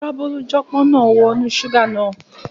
Kòkòrò abólújọpọ́n máa wọ inú ṣúgà náà.